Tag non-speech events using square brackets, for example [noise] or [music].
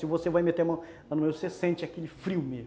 Se você vai meter a mão, [unintelligible] você sente aquele frio mesmo.